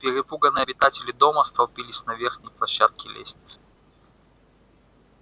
перепуганные обитатели дома столпились на верхней площадке лестницы